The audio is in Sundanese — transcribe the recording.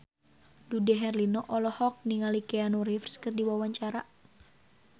Dude Herlino olohok ningali Keanu Reeves keur diwawancara